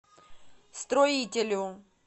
строителю